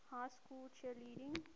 high school cheerleading